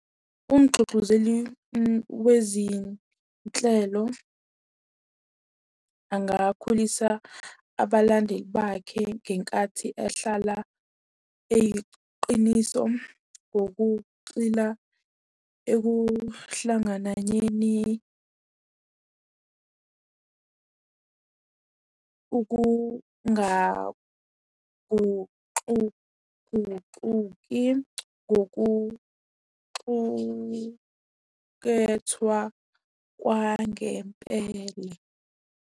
Umgxugxuzeli wezinhlelo, angakhulisa abalandeli bakhe ngenkathi ehlala eyiqiniso ngokuxila ekuhlangananyeni ukungaguxuguxuki ngokuxukethwa kwangempela.